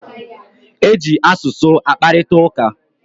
E ji asụsụ akparitauka